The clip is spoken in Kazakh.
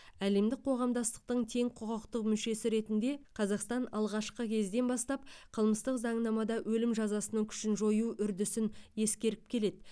әлемдік қоғамдастықтың тең құқықты мүшесі ретінде қазақстан алғашқы кезден бастап қылмыстық заңнамада өлім жазасының күшін жою үрдісін ескеріп келеді